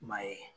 I m'a ye